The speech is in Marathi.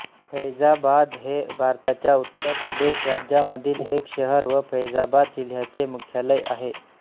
फैझाबाद हे भारताच्या उत्तर प्रदेश राज्यामधील एक शहर व फैझाबात जिल्ह्याचे मुख्यालय आहे